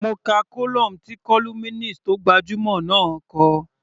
Mo ka column tí columnist tó gbajúmọ̀ náà kọ.